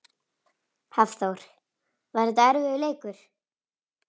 Hafþór: Var þetta erfiður leikur?